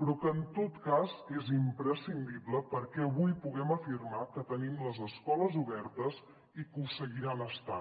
però que en tot cas és imprescindible perquè avui puguem afirmar que tenim les escoles obertes i que ho seguiran estant